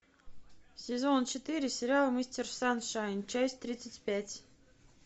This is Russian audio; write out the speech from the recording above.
сезон четыре сериал мистер саншайн часть тридцать пять